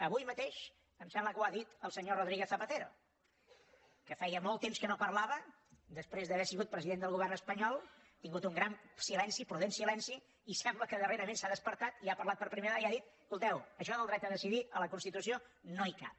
avui mateix em sembla que ho ha dit el senyor rodrí guez zapatero que feia molt temps que no parlava després d’haver sigut president del govern espanyol ha tingut un gran silenci prudent silenci i sembla que darrerament s’ha despertat i ha parlat per primera vegada i ha dit escolteu això del dret a decidir a la constitució no hi cap